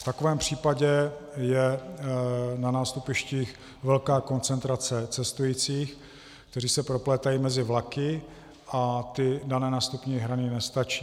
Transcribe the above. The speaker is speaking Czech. V takovém případě je na nástupištích velká koncentrace cestujících, kteří se proplétají mezi vlaky, a ty dané nástupní hrany nestačí.